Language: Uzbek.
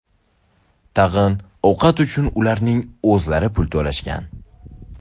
Tag‘in ovqat uchun ularning o‘zlari pul to‘lashgan.